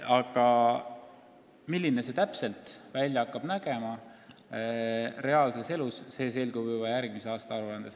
Aga milline pilt avaneb reaalses elus, see selgub juba järgmise aasta aruandes.